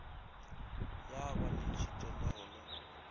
ya ba le tšhitelego le